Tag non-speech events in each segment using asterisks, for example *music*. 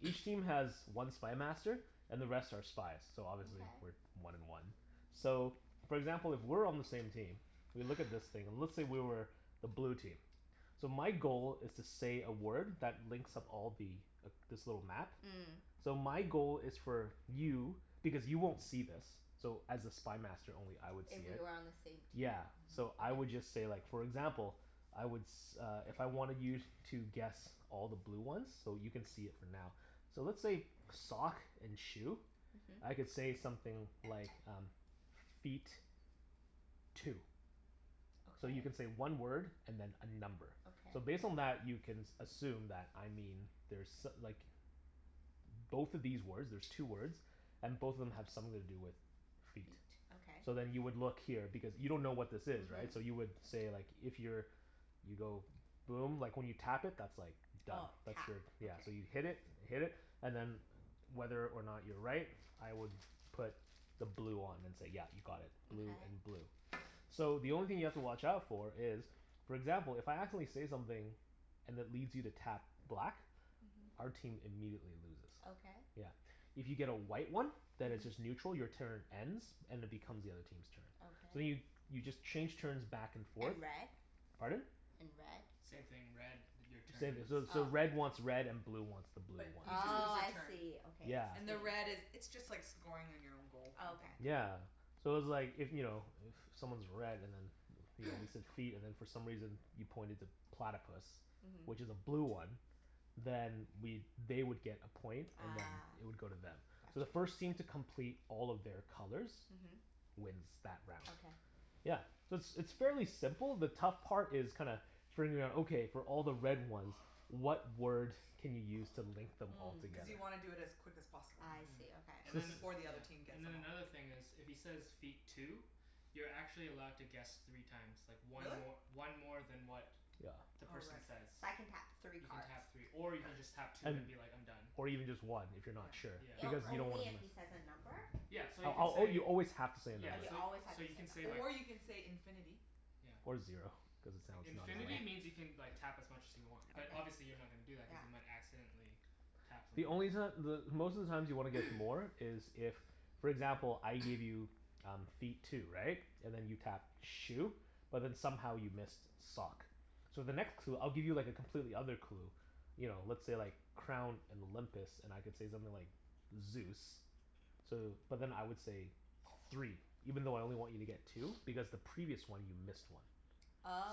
Each team has one Spy Master. And the rest are spies, so obviously we're Okay. one and one. So, for example, if we're on the same team we look at this *noise* thing and let's say we were the blue team. So my goal is to say a word that links up all the, this little map. Mm. So my goal is for you, because you won't see this so as a Spy Master only I would If see we it. were on the same team? Yeah. So Mhm. I would Okay. just say like, for example I would s- uh if I wanted you to guess all the blue ones So you can see it for now. So let's say sock and shoe. Mhm. I could say something like um Feet. Two. So you can Okay. say one word and then a number. Okay. So based *noise* on that you can s- assume that I mean there's so- like Both of these words, there's two words And both of them have something to do with Feet. feet. Okay. So then you would look here because you don't know what this is, right? So you Mhm. would say like, if you're you go boom. Like, when you tap it that's like Done. Oh. That's Tap. your, yeah. Okay. So you hit it. Hit it, and then whether or not you're right I would put the blue on and say yeah, you got it. Blue and Okay. blue. So the only thing you have to watch out for is for example, if I accidentally say something and it leads you to tap black Mhm. our team immediately loses. Okay. Yeah. If you get a white one then it's Mhm. just neutral. Your turn ends and it becomes the other team's turn. So then you, Okay. you just change turns back and forth And red? Pardon? And red? Same thing. Red, your turn Same, ends. so so Oh. red wants red and blue wants the blue But you ones. just lose Oh, *noise* your I turn. see. Okay, Yeah. I And the red see. is, it's just like scoring on your own goal, Oh kinda thing. okay. Yeah. So it's like, if, you know, if someone's red and then you know, you *noise* said feet and then for some reason you pointed to platypus Mhm. which is a blue one then we'd, they would get a point and then Ah, it would go to them. So the gotcha. first team to complete all of their colors Mhm. wins that round. Okay. Yeah. So it's it's fairly simple. The tough part is kinda figuring out, okay, for all the red ones *noise* what word can you use to *noise* link them all Mm. Cuz together? you wanna do it as quick as possible. I Mhm. see. And Okay. So then, *inaudible* Before the yeah, other team gets and them then all. another thing is if he says, "Feet. Two." You're actually allowed to guess three times. Like one Really? mor- one more than what Yeah. the Oh, right. person So says. I can tap three You can cards? tap three. Or you can just tap two And, and be like, "I'm done." or even just one if you're Yeah, not sure, Yeah. O- because right. you don't wanna only if he *inaudible* says a number? Yeah. So *inaudible* you can say you always have to say a number. Yeah, Oh, you so always have so to say you a can say number. like Or you can say, "infinity." Yeah. Or zero, cuz it sounds not as Infinity lame. Okay. means you can like tap as much as you want. But Okay. obviously you're not gonna do that cuz Yeah. you might accidentally tap something The else. only reason that the, most of the times you want to get *noise* more is if for example, I *noise* give you um feet, two. Right? And then you tapped shoe? But then somehow you missed sock. So the next clue, I'll give you like a completely other clue you know, let's say like crown and Olympus and I could say something like Zeus. So, but then I would say three even though I only want you to get two *noise* because the *noise* previous one you missed one.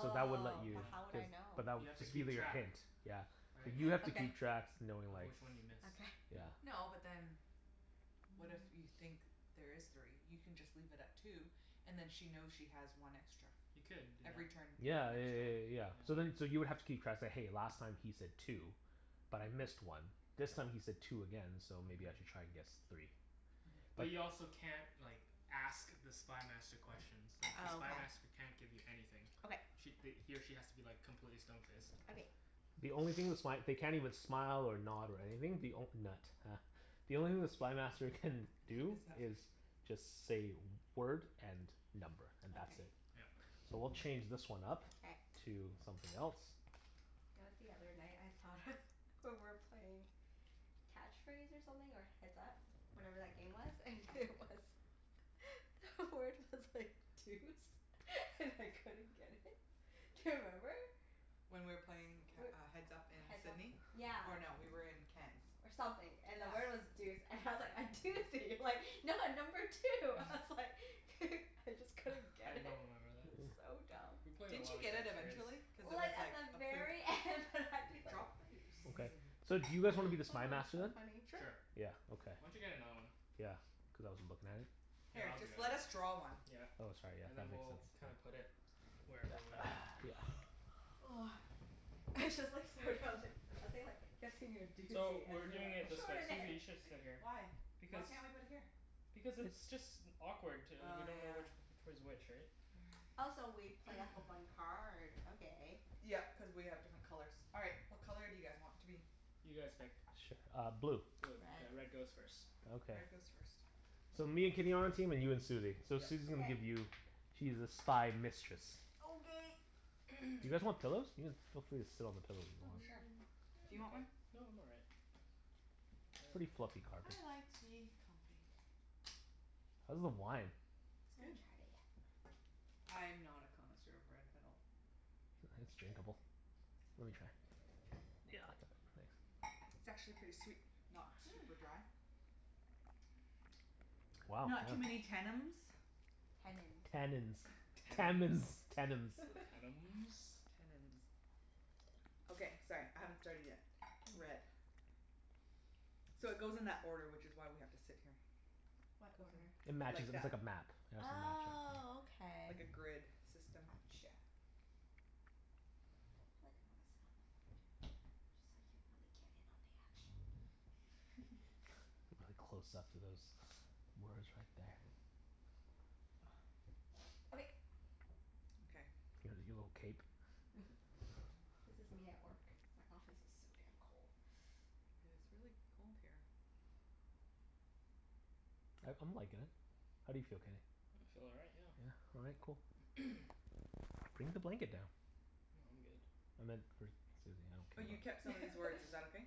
So that would let you, Yeah. but how would cuz, I know? but that, You have to that'll keep be your track. hint. Yeah. But Right? you *noise* have to Okay. keep tracks knowing Of like which one you *noise* miss. Okay. Yeah. Yeah. No, but then what if you think there is three? You can just leave it at two and then she knows she has one extra. You could do Every turn that. you get Yeah yeah an yeah extra yeah one. yeah Yeah. yeah. So then so you would have to keep tracks, say "Hey, last time he said two." "But I missed Mhm. one." "This time he said two again. So maybe I Mhm. should try and guess three." Mhm. But But you also can't like ask the Spy Master questions. It's like the Spy Oh, Master can't give you okay. anything. Okay. Sh- th- he or she has to be like completely stone faced. Okay. The only thing the *noise* sp- they can't even *noise* smile or nod or anything. The onl- nut, huh. The only thing the Spy Master can What do is that fa- is just say word and number, and that's it. Okay. Yeah. So we'll *noise* change this one up K. to something else. You know what the other night I thought of, we were playing Catch Phrase or something, or Heads Up. Whatever that game was. And it was *laughs* The word was like deuce. *laughs* And I couldn't get it. Do you remember? When we were playing c- We're, uh Heads Up in Heads Up Sidney. Yeah. Or no, we were in Ken's. or something. And the Yeah. word was deuce. And I was like, "I do see you, like *noise* no, number two." I *noise* was like *noise* *laughs* I just couldn't *noise* I get it. don't remember that. It was *noise* so We dumb. played a Didn't lot you of get it Catch Phrase. eventually? Cuz it Well, was it's at like the a pers- very end that I'd be like Drop a deuce. Okay. *laughs* So do *noise* Oh, you guys wanna be the Spy Master so then? funny. Sure. Sure. Yeah, okay. Why don't you get another one? Yeah, cuz I wasn't lookin' at it. Here, Here, I'll do just it. let us draw one. Yeah. Oh, sorry. Yeah, And then that makes we'll kinda sense. put Yeah. it whatever way. *noise* *noise* It's just like, so dumb that I was thinking like, kept saying you're a So, doozy, and we're you're doing like, it this *laughs* way. Susie, "Extraordinary!" you should sit here. Why? Why Because can't we put it here? Because it's just awkward t- we Oh, don't know yeah. which which way's which, right? *noise* Also, we play off of *noise* one card? Okay. Yep, cuz we have different colors. All right. What color do you guys want to be? You guys pick. Sure, uh blue. Blue. Okay, Red. red goes first. Okay. Red goes first. So, me and Kenny on our team, and you and Susie. So Yep. Susie's gonna K. give you She's the Spy Mistress. Okay. You *noise* *noise* guys want pillows? You can, feel free to sit on the pillows if you Oh, want. sure. Mm, Do you I'm want okay. one? No, I'm all right. Pretty *noise* fluffy carpet. I like to be comfy. How's the wine? It's I good. haven't tried it yet. I'm not a connoisseur of red at all. Sure, it's drinkable. Let me try. Try? Yeah, thanks. It's actually pretty sweet. Not super Hmm. dry. Wow, Not too many yeah. tennums. Tennins. Tannins. Tammins. Tennums? Tennums. *laughs* Tannums. Tannins. *noise* Okay, sorry. I haven't started yet. Red. So, it goes in that order, which is why we have to sit here. What Goes order? *noise* It in matches like it, it's that. like a map Oh, *inaudible* okay. Like a grid system. Gotcha. Feel like I'm gonna sit on the floor, too. Just so I can really get in on the action. *laughs* *laughs* *laughs* Really close up to those words right there. *noise* *noise* Okay. Okay. Look at your little cape. *laughs* This is me at work. My office is so damn cold. Yeah, *noise* it's really cold here. I I'm likin' it. How do you feel, Kenny? I feel all right, yeah. Yeah? All right. Cool. *noise* *noise* Bring the blanket down. No, I'm good. I meant for Susie. Oh, I don't you care kept about some of these words. Is that *laughs* okay?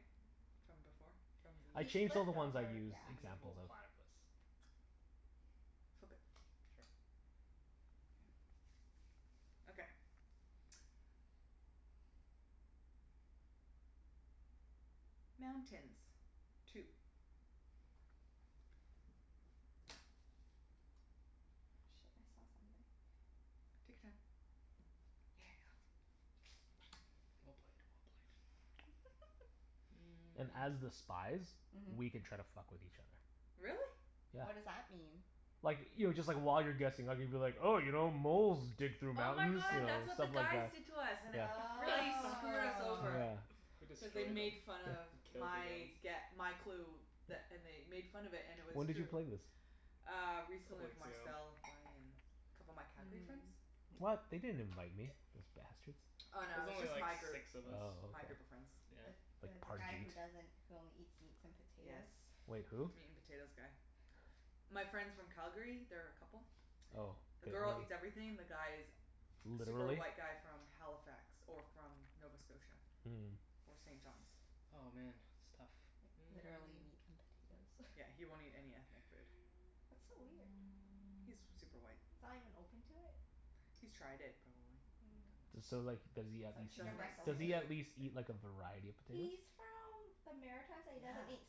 From before? From the I He changed *inaudible* all the flipped ones I over, used yeah. N- examples well, of. platypus. Flip it. Sure. Yeah. Okay. *noise* Mountains. Two. Oh, shit. I saw something. Take your time. Yeah. Well played. Well played. *laughs* Mm. And as the spies Mhm. We can try to fuck with each other. Really? Yeah. What does that mean? Like, you know, just like while you're guessing I could be like, 'Oh, you know, moles dig through Oh my mountains." You god, know? *noise* that's what the Stuff like guys that. did to us and it *laughs* Yeah. fu- really screwed us Oh. over. Yeah. We destroyed Cuz they them. made fun of We killed my the girls. gue- my clue. That and they made fun of it, and it was When did true. you play this? Uh, A recently couple with weeks ago. Marcel, Bonnie, and a couple of my Calgary friends. Mm. What? They didn't invite me, those bastards. Oh It no, was it was only just my like group, six of us. Oh, my okay. group of friends. Yeah. The the Like the guy Parjeet. who doesn't, who only eats meats and Yes, potatoes? Wait, who? meat and potatoes guy. My friends from Calgary. They're a couple. Oh. The The girl girl, eats everything. The guy is super literally? white guy from Halifax. Or from Nova Scotia. Mm. Or St. John's. Oh, man. It's tough. Like, Mm. literally meat and potatoes. *laughs* Yeah, he won't eat any ethnic food. That's so weird. He's super white. He's not even open to it? He's tried it, probably, and Mm. didn't D- So so like does he at least chicken Doesn't eat breast eat, does only. he at seafood. least *laughs* eat like a variety of He's potatoes? from the Maritimes and he Yeah. doesn't eat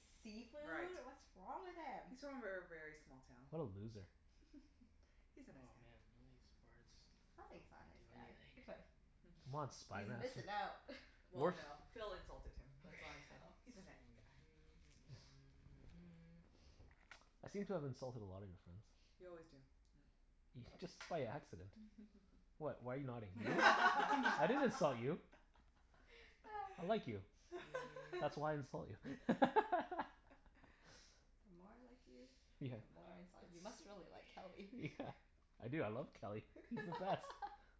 Right. seafood? What's wrong with him? He's from a ver- very small town. What a loser. *laughs* He's a nice Oh guy. man, none of these words do Sounds like he's not a nice guy. anything. *laughs* Come on *laughs* Spy He's Master. missin' out. *laughs* Well Wart? no, Phil insulted him. Okay. That's *noise* why I said, Oh. "He's a night guy." I seem to have insulted a lot of your friends. You always do, yeah. Ye- just by accident. *laughs* What? Why are you nodding? *laughs* I didn't insult *laughs* you. I *laughs* like you. That's *noise* why I insult you. *laughs* *laughs* The more I like you, Yeah. the more I insult you. You must really like Kelly. Yeah. I do. I love Kelly. He's the best. *laughs*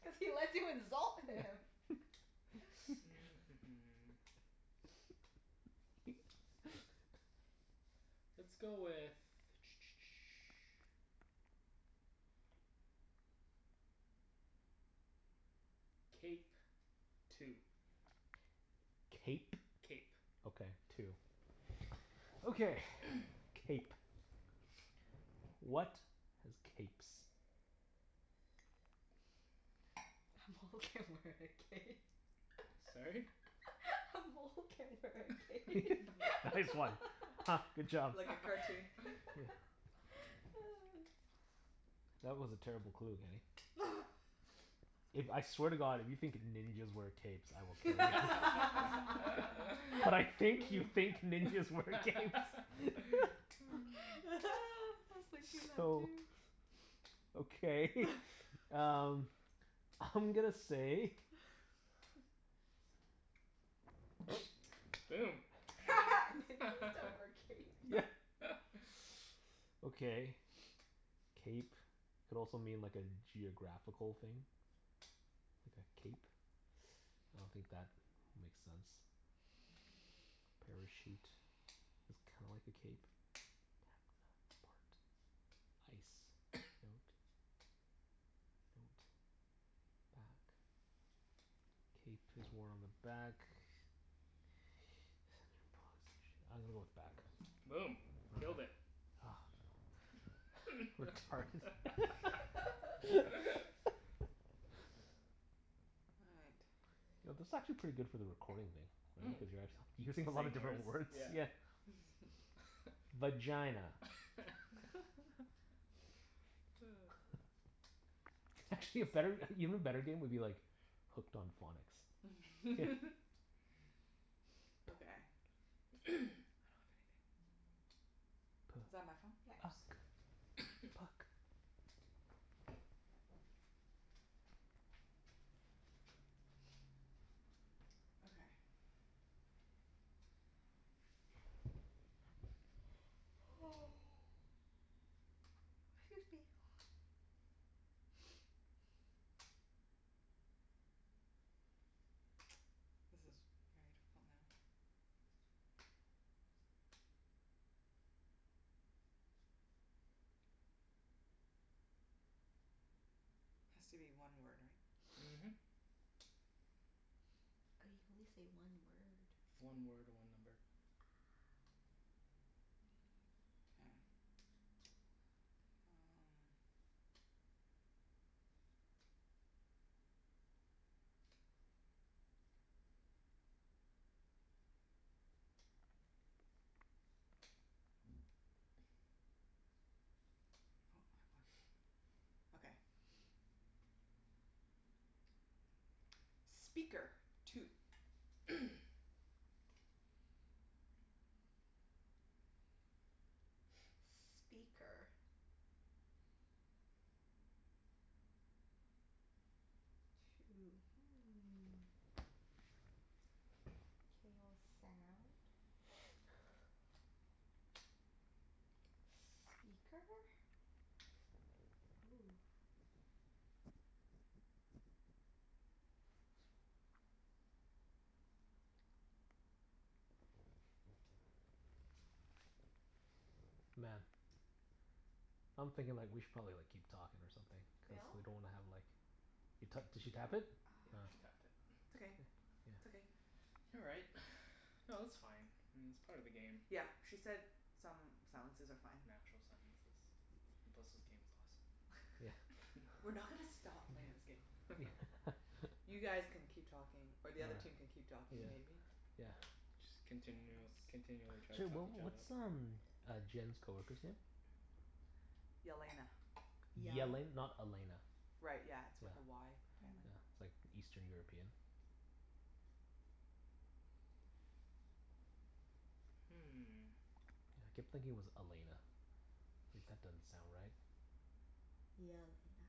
Cuz he lets you insult him. *laughs* *noise* *laughs* *noise* *noise* Let's go with *noise* Cape. Two. Cape? Cape. Okay. Two. Okay. *noise* Cape. What has capes? A mole can wear a cape. *laughs* A mole can wear a cape. *laughs* *laughs* Nice one. Huh. Good *laughs* job. Like a *laughs* cartoon. Yeah. *laughs* That was a terrible clue, Kenny. If, I *laughs* swear to god, if you think ninjas wear capes I will *laughs* I kill you. But I was *laughs* think you thinking think ninjas wear capes. *laughs* *laughs* that too. So *noise* okay *laughs* um I'm gonna say Boom. *laughs* Ninjas don't wear capes. Yeah. *laughs* *noise* Okay. Cape could also mean like a geographical thing. Like a cape. I don't think that makes sense. A parachute is *noise* kinda like a cape *inaudible* ice *noise* note. Note. Bat. Cape is worn on the back. *inaudible* I'm gonna go with back. Boom. Killed it. *noise* Retarded. *laughs* *laughs* *laughs* All right. You know, this is actually pretty good for the recording thing. Right? Cuz you're actu- you're saying a lot of Saying different words? words. Yeah. Yeah. *laughs* Vagina. *laughs* *laughs* *laughs* Actually, a better, even better game would be like Hooked on Phonics. *laughs* *laughs* Okay. *noise* I don't have anything. P- Is that my phone? Yeah. Oops. uck. *noise* Puck. *noise* Okay. *noise* Excuse me. *noise* *noise* This is very difficult now. Has to be one word, right? Mhm. *noise* Oh, you can only say one word. One word, one number. Ah. K. Um *noise* Oh, I have one. Okay. *noise* Speaker. Two. *noise* *noise* Speaker. Two. Hmm. K, well, sound. *noise* Speaker? Hoo. *noise* Man. I'm thinking like we should probably like keep talking or something, cuz Phil? we don't wanna have like You to- did she tap it? Ah. Yeah, she tapped it. It's okay. K. It's okay. Yeah. All right. *noise* No, that's fine. It's part of the game. Yep. She said some silences are fine. Natural silences. And plus this game is awesome. Yeah. *laughs* We're *laughs* not gonna stop playing this game. *laughs* Yeah. You guys *laughs* can keep talking, or All right. the other team can keep talking, Yeah. *noise* maybe? Yeah. Just continu- *inaudible* continually to try to Sorry fuck what each other up. what's um uh Jenn's coworker's name? Yelena. Yal- Yele- not Elena? Right, yeah. It's Yeah. with a Y Yeah. Yeah. apparently. It's like Eastern European? Hmm. Yeah, I kept thinking it was Elena. If that doesn't sound right. Yelena.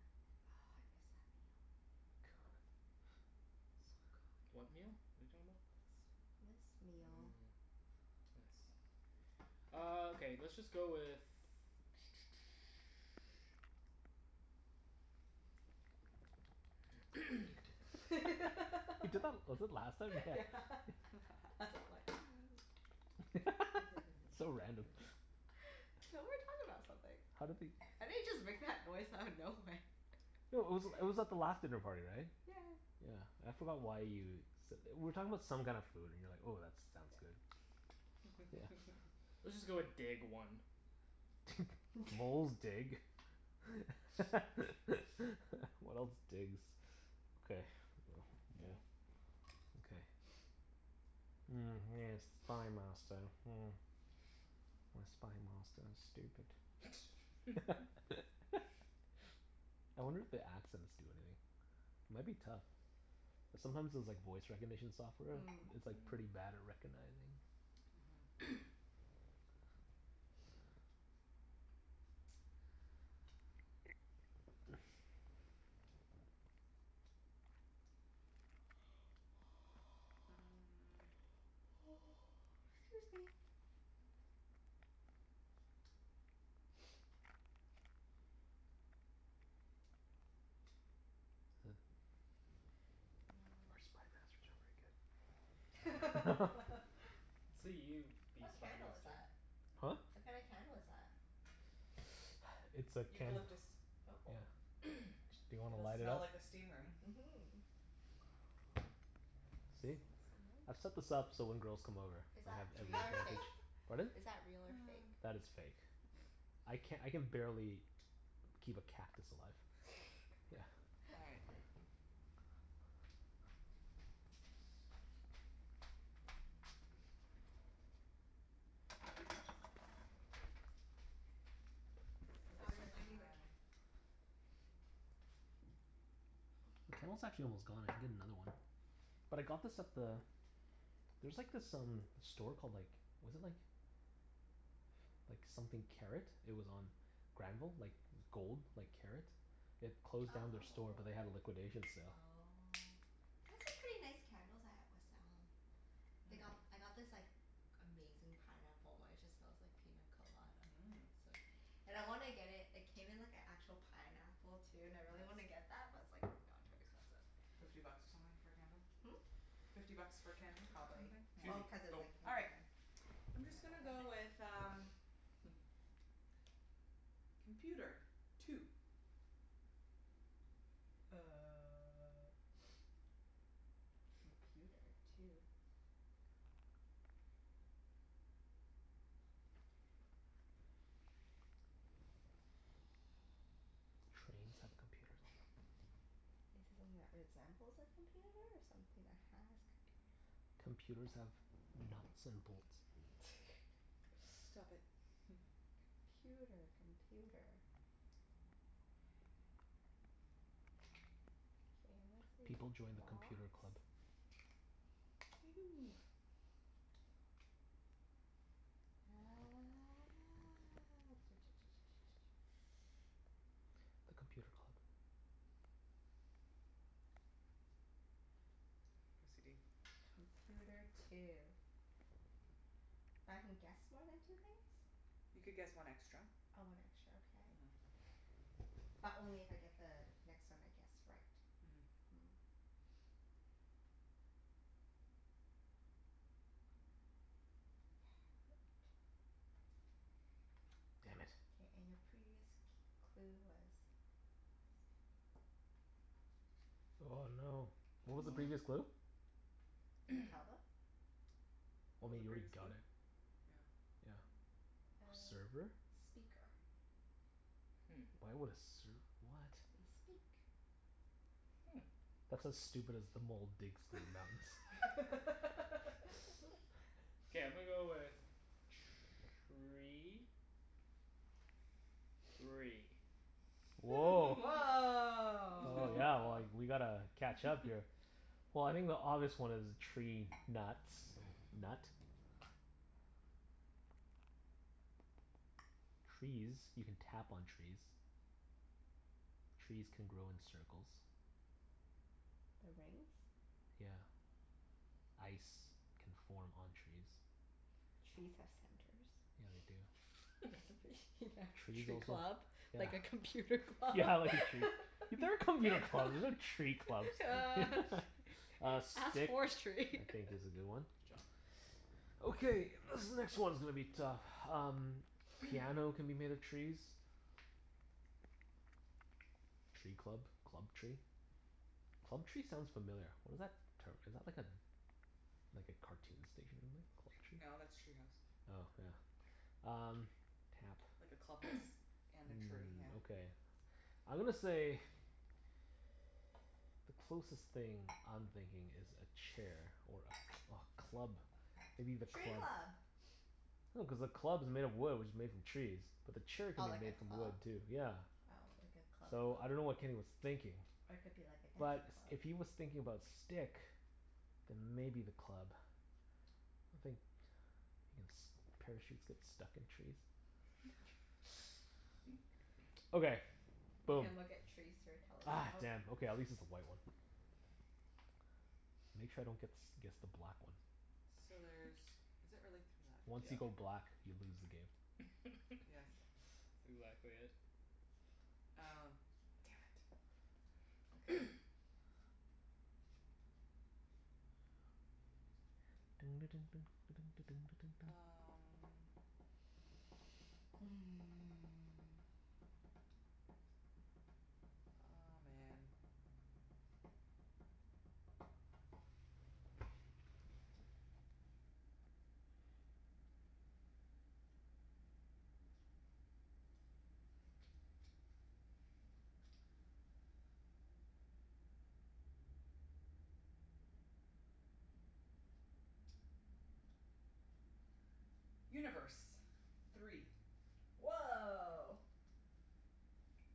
Oh, I miss that meal. Good. *noise* So good. What meal? What are you talking about? This this meal. Mm. Nice. Ah, okay. Let's just go with *noise* *noise* *laughs* He did that, was it last time? Yeah. Yeah. *laughs* That's *laughs* why I'm like *noise* *laughs* So random. *laughs* So, we were talking about something. How did he I didn't just make that noise out of nowhere. No, it was it was *laughs* at the last dinner party, right? Yeah yeah. Yeah. I forgot why you s- we were talking about some kinda food and you were like, "Oh, that sounds Yeah. good." *noise* *noise* Yeah. *laughs* Let's just go with dig, one. *laughs* Moles *laughs* dig. *laughs* What else digs? *noise* Okay, Yeah. well, yeah. Okay. *noise* Mm, yes, Spy *noise* Master, hmm. My Spy Master is stupid. *laughs* I wonder if the accents do anything? It might be tough. Cuz sometimes those like voice recognition software, Mm. it's like pretty Mm. bad at recognizing. Mhm. *noise* *noise* *noise* Mm. *noise* 'Scuse me. *noise* *noise* Is th- Huh. Our Spy Masters aren't very *laughs* good. Let's *laughs* *laughs* see you be What Spy candle is Master. that? Huh? What kinda candle is that? *noise* It's a can. Eucalyptus. Oh. Yeah. *noise* Do you wanna It'll light it smell up? like a steam room. Mhm. See? I've set Smells so nice. this up so when girls come over Is I that have *inaudible* real or fake? advantage. *laughs* Pardon? Is that real or fake? *noise* That is fake. *noise* I can, I can barely keep a cactus alive. Yeah. All right. *laughs* *noise* Oh, you're Let's lighting the cand- try The *noise* candle's actually almost gone. I can get another one. But I got this at the, there's like this um store called like, was it like like something Karat. It was on Granville. Like gold, like karat. It closed down their store but they had a Oh. liquidation sale. Oh. They have some pretty nice candles at West Elm. Mm. They got, I got this like amazing pineapple one. It just smells like pina colada, oh Mmm. so And I wanna get it, it came in like an actual pineapple, too, and I really wanna Nice. get that, but it's like no, too expensive. Fifty bucks or something for a candle? Hmm? Fifty bucks for a candle, or something? Probably. Yeah. Susie. Well, cuz it's Go. like in All a right. I'm just gonna go pineapple thing. with um *noise* *laughs* Computer. Two. Uh *noise* computer two? Trains have *noise* computers on them. Is it something that resembles a computer or something that has computer? Computers have nuts and bolts. Stop it. *laughs* *laughs* Computer. Computer. K, I'm gonna say People join the box. Computer Club. You. *noise* Ah *noise* The Computer Club. OCD. Computer two. But I can guess more than two things? You could guess one extra. Oh, one extra. Okay. Mhm. But only if I get the next one I guess right? Mhm. Mm. Part. Damn it. K, and your previous c- clue was Oh no. What was the previous Wow. clue? Can you tell them? *noise* What Well I was the mean, you already previous got clue? it. Yeah. Yeah. Uh, Server? speaker. Hmm. Why would a serv- what? They speak. Hmm. That's as stupid as the mole digs for nuts. *laughs* *laughs* K, I'm gonna go with tree. Three. *noise* Woah. Oh yeah, well *laughs* Woah. like, we gotta catch up here. *laughs* Well, I think the obvious one is tree nuts. Nut. Trees. You can tap on trees. Trees can grow in circles. The rings? Yeah. Ice can form on trees. Trees have centers. Yeah, they do. *noise* *laughs* Yeah, Trees tree also, club. yeah Like a computer club. Yeah, like a tree, there are *laughs* computer clubs, there's no tree clubs. *laughs* *laughs* Uh, Ask stick, I forestry. think is a good one. Good *laughs* job. Okay, this next one's gonna be tough. Um *noise* Piano can be made of trees. Tree club? Club tree? Club tree sounds familiar. What is that term? Is that like a like a cartoon station *inaudible* No, Club Tree? that's Treehouse. Oh, yeah. Um, tap. Like a clubhouse *noise* and a tree, Mm, yeah. okay. I'm gonna say *noise* Closest thing I'm thinking is a chair *noise* or a a club maybe the Tree club? club! *noise* No, cuz the club's made of wood which is made from trees. But the chair Oh, could like be a made from club? wood, too. Yeah. Oh, like a club So, I dunno club. what Kenny was thinking. Or it could be like a But dancing s- club. if he was thinking about stick then maybe the club. I think *noise* ins- parachutes get stuck in trees. *laughs* Okay, You boom. can look at trees through a Ah, telescope. damn. Okay, at least it's a white one. Make sure I don't gets guess the black one. So *laughs* there's, is it really three left? Once you Yep. go black you lose the game. *laughs* That's Yes. exactly it. Oh, damn it. Okay. *noise* *noise* Um *noise* Aw, man. Universe. Three. Woah.